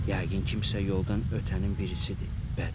Yəqin kimsə yoldan ötənin birisidir, bədbəxt.